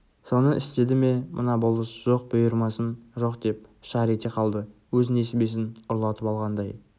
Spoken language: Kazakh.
соны істеді ме мына болыс жоқ бұйырмасын жоқ деп шар ете қалды өз несібесін ұрлатып алғандай